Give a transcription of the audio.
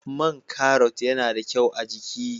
Man Karrot yana da kyau a'jiki.